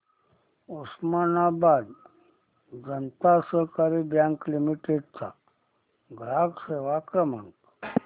Osmanabad Janata Sahakari bank limited चा ग्राहक सेवा क्रमांक